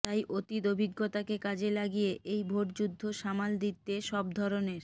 তাই অতীত অভিজ্ঞতাকে কাজে লাগিয়ে এই ভোটযুদ্ধ সামাল দিতে সব ধরনের